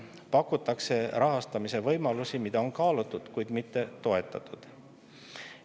Pakutakse rahastamise võimalusi, mida on kaalutud, kuid mitte toetatud.